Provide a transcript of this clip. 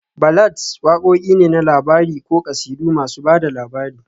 Ballads wakoki ne na labari ko kasidu masu ba da labari